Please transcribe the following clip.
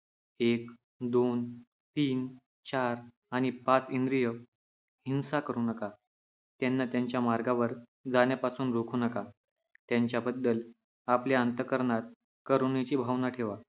एक, दोन, तीन, चार आणि पाच इंद्रिय हिंसा करू नका, त्यांना त्यांच्या मार्गावर जाण्यापासून रोखू नका. त्यांच्याबद्दल आपल्या अंतःकरणात करुणेची भावना ठेवा.